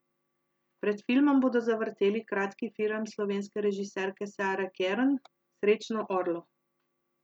Pred filmom bodo zavrteli kratki film slovenske režiserke Sare Kern Srečno, Orlo.